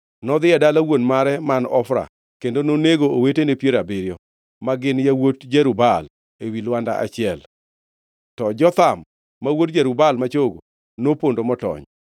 Nodhi e dala wuon mare man Ofra kendo nonego owetene piero abiriyo, ma gin yawuot Jerub-Baal ewi lwanda achiel. To Jotham, ma wuod Jerub-Baal ma chogo, nopondo motony.